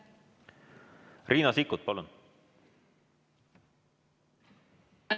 Riina Sikkut, palun!